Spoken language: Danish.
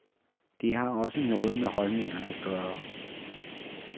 Det har også noget med holdninger at gøre.